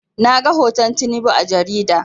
Na ga hoton Tinubu a jarida